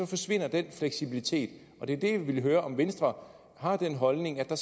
forsvinder den fleksibilitet og det er der jeg vil høre om venstre har den holdning at der